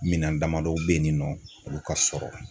Minan damadɔ bɛ ye nin nɔ olu ka sɔrɔ.